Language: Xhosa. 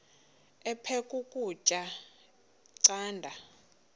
aphek ukutya canda